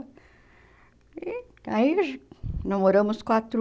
E aí nós moramos quatro...